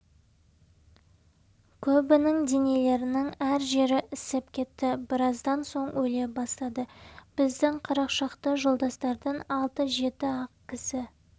көбінің денелерінің әр жері ісіп кетті біраздан соң өле бастады біздің қырық шақты жолдастардан алты-жеті-ақ кісі